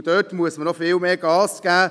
Dort muss man noch sehr stark Gas geben.